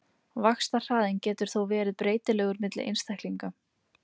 vaxtarhraðinn getur þó verið breytilegur milli einstaklinga